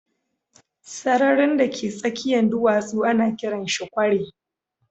Sararin da ka tsakiyan duwatsu ana kiran shi kwari.